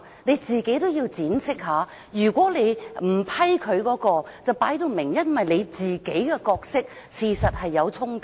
你自己也要闡釋一下，你不批准他提出該項修正案，是否因為你自己有角色衝突？